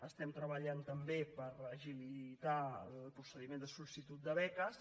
estem treballant també per agilitar el procediment de sol·licitud de beques